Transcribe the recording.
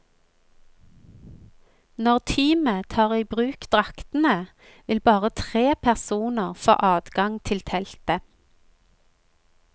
Når teamet tar i bruk draktene, vil bare tre personer få adgang til teltet.